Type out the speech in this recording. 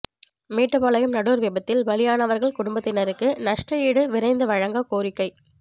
மேட்டுப்பாளையம் நடூர் விபத்தில் பலியானவர்கள் குடும்பத்தினருக்கு நஷ்ட ஈடு விரைந்து வழங்க கோரிக்கை